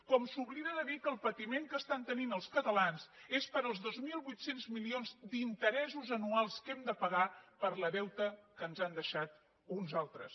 com s’oblida de dir que el patiment que estan tenint els catalans és pels dos mil vuit cents milions d’interessos anuals que hem de pagar pel deute que ens han deixat uns altres